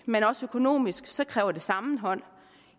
men også økonomisk så kræver det sammenhold